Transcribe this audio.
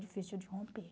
Difícil de romper.